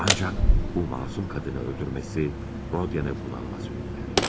Ancaq bu məsum qadını öldürməsi Rodyanı bunalıma sürüklər.